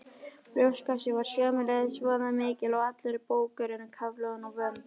Brjóstkassinn var sömuleiðis vöðvamikill og allur búkurinn kafloðinn, vömb